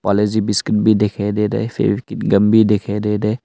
लजी biscuit भी दिखाई देरा है सेव किट गम दिखाई देरा है।